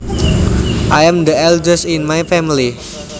I am the eldest in my family